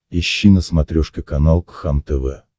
ищи на смотрешке канал кхлм тв